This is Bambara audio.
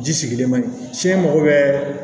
Ji sigilen man ɲi ci mago bɛ